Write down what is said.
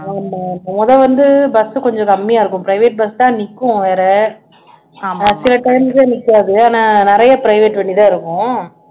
ஆமாமா மொத வந்து bus உ கொஞ்சம் கம்மியா இருக்கும் private bus தான் நிக்கும் வேற time ல நிக்காது ஆனா நிறைய private வண்டி தான் இருக்கும்